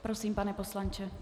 Prosím, pane poslanče.